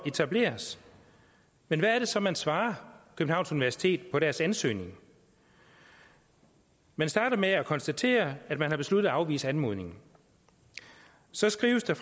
etableres men hvad er det så man svarer københavns universitet på deres ansøgning man starter med at konstatere at man har besluttet at afvise anmodningen så skrives der